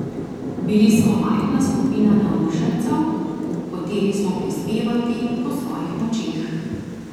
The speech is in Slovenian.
Bili smo majhna skupina navdušencev, hoteli smo prispevati po svojih močeh.